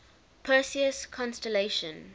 perseus constellation